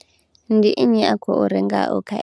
Ndi nnyi a khou rengaho kha.